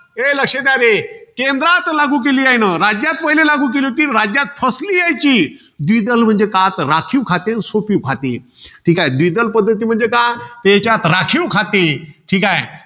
ए लक्ष द्या रे. केंद्रात लागू केली आहे न राज्यात पहिले लागू केली होती. राज्यात फसली आहे ती. द्विदल म्हणजे का? तर राखीव खाते अन सोपिव खाते. तर द्विदल पद्धती म्हणजे काय? त्यांच्यात राखीव खाते. ठीकाय